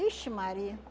Ixi Maria!